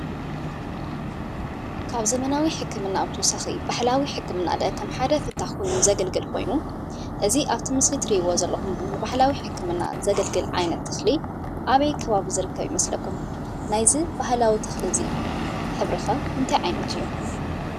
ካብ ዘመናዊ ሕክምና ብተወሳኺ ባህላዊ ሕክምና ከም ሓደ ፍታሕ ኮይኑ ዘገልግል ኮይኑ እዚ ኣብቲ ብስሊ እተሪእዎ ዘለኹም ባህላዊ ሕክምና ዘገልግል ዓይነት ተኽሊ ኣበይ ከባቢ ዝርከብ ይመስከሉም? ናይዚ ባህላዊ ተኽሊ እዙይ ሕብሪ ከ እንታይ ዓይነት እዩ ?